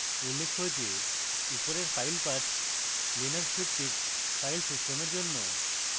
উল্লেখ্য যে উপরের file path linux ভিত্তিক file systems জন্য